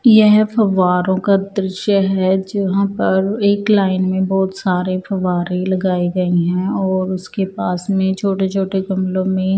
येहं फवारो का दृश्य हैं जहां पर एक लाइन में बहुत सारे फवारे लगाए गएं हैं और उसके पास में छोटे छोटे गमलो में--